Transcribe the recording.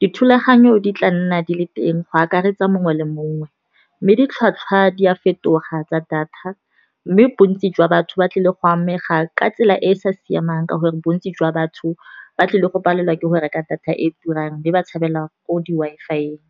dithulaganyo di tla nna di le teng go akaretsa mongwe le mongwe. Mme ditlhwatlhwa di a fetoga tsa data, mme bontsi jwa batho ba tlile go amega ka tsela e e sa siamang ka gore bontsi jwa batho, ba tlile go palelwa ke go reka data e turang le ba tshabela ko di-Wi-Fi-eng.